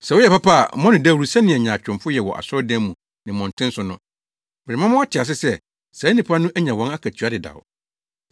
“Sɛ woyɛ papa a mmɔ no dawuru sɛnea nyaatwomfo yɛ wɔ asɔredan mu ne mmɔnten so no. Merema mo ate sɛ saa nnipa no anya wɔn akatua dedaw.